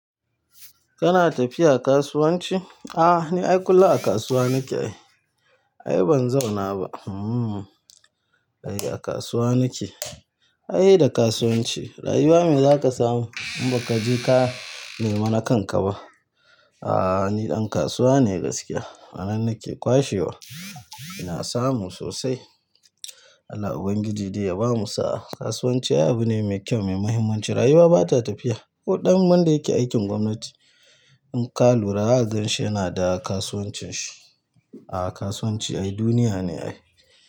Kana tafiya kasuwanci? A'a, ni ai kullum a kasuwa nake. Ai. Ai ban zauna ba. Hmm, ai a kasuwa nake. Ai seda kasuwanci rayuwa me za ka samu in ba ka je ka nema na kanka ba. A'a, ni ɗan kasuwa ne gaskiya. A nan nake kwashewa, ina samu sosai. Allah ubangiji dai ya bamu sa'a kasuwanci ai abu ne mai kyau mai mahimmanci. Rayuwa ba ta tafiya. Ko ɗan wan da yake aikin gwamnati in ka lura, zaka ganshi yana da kasuwancin shi. Aaa kasuwanci ai duniya ne ai.